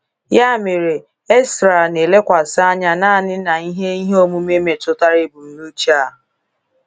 Ya mere, Ezra na-elekwasị anya naanị na ihe ihe omume metụtara ebumnuche a.